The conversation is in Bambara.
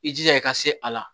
I jija i ka se a la